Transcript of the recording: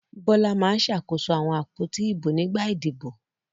Bọ́lá máa ń ṣàkóso àwọn àpótí ìbò nígbà ìdìbò.